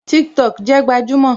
TikTok jẹ gbajúmò